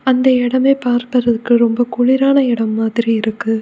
அந்த எடமே பார்ப்பதற்கு ரொம்ப குளிரான எடம் மாதிரி இருக்கு.